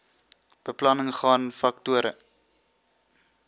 beplanning gaan faktore